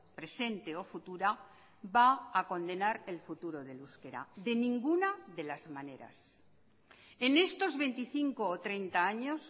presente o futura va a condenar el futuro del euskera de ninguna de las maneras en estos veinticinco o treinta años